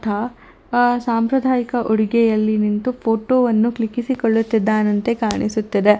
ದ್ದ ಆ ಸಂಪ್ರದಾಯಿಕ ಉಡುಗೆಯಲ್ಲಿ ನಿಂತು ಫೋಟೋ ವನ್ನು ಕ್ಲಿಕ್ಕಿಸಿಕೊಳ್ಳುತ್ತಿದ್ದಾನಂತೆ ಕಾಣಿಸುತ್ತಿದೆ.